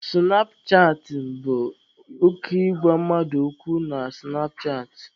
Sụnap chatịn bụ oke ịgwa mmadụ okwu na sụnap chaatị.